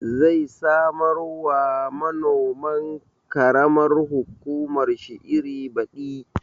Zai samar wa manoman ƙaramar hukumar shi iri baɗi